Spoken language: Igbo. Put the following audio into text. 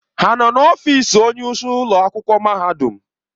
Ha nọ n'ọfịs onyeisi ụlọ akwụkwọ mahadum?